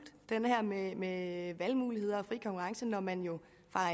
med valgmuligheder og fri konkurrence når man jo